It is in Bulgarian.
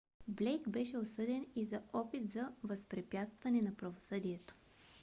блейк беше осъден и за опит за възпрепятстване на правосъдието